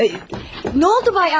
Nə oldu, cənab Andrey?